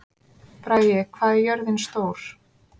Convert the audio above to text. Bragi, hvað er jörðin stór?